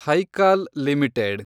Hical limited